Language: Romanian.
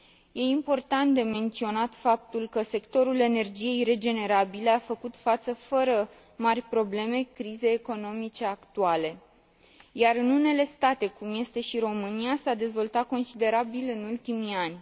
E important de menționat faptul că sectorul energiei regenerabile a făcut față fără mari probleme crizei economice actuale, iar în unele state, cum este și România, s a dezvoltat considerabil în ultimii ani.